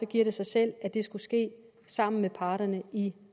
giver det sig selv at det skulle ske sammen med parterne i